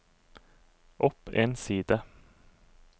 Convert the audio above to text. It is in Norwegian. opp en side